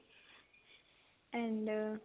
and